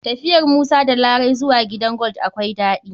Tafiyar musa da larai zuwa gidan gold akwai daɗi.